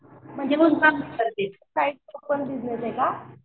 म्हणजे